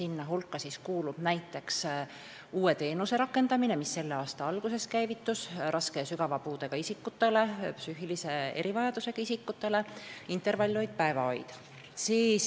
Nende hulka kuulub näiteks uus teenus, mis selle aasta algusest rakendus raske ja sügava puudega isikutele, psüühilise erivajadusega isikutele – intervallhoid, päevahoid.